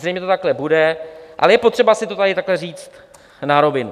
Zřejmě to takhle bude, ale je potřeba si to tady takhle říct na rovinu.